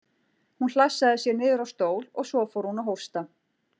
Hún hlassaði sér niður á stól og svo fór hún að hósta.